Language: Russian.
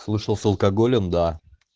слышал с алкоголем да